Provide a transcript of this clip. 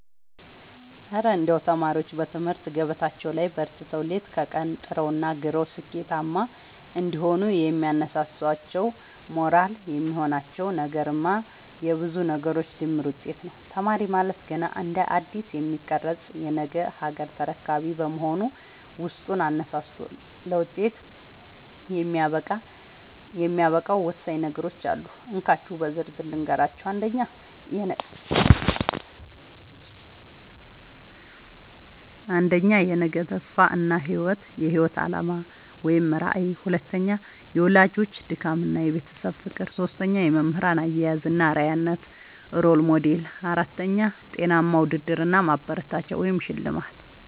እረ እንደው ተማሪዎች በትምህርት ገበታቸው ላይ በርትተው፣ ሌት ከቀን ጥረውና ግረው ስኬታማ እንዲሆኑ የሚያነሳሳቸውና ሞራል የሚሆናቸው ነገርማ የብዙ ነገሮች ድምር ውጤት ነው! ተማሪ ማለት ገና እንደ አዲስ የሚቀረጽ የነገ ሀገር ተረካቢ በመሆኑ፣ ውስጡን አነሳስቶ ለውጤት የሚያበቃው ወሳኝ ነገሮች አሉ፤ እንካችሁ በዝርዝር ልንገራችሁ - 1. የነገ ተስፋ እና የህይወት አላማ (ራዕይ) 2. የወላጆች ድካምና የቤተሰብ ፍቅር 3. የመምህራን አያያዝ እና አርአያነት (Role Model) 4. ጤናማ ውድድር እና ማበረታቻ (ሽልማት)